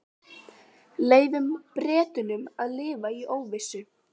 Leyfum Bretunum að lifa í óvissu.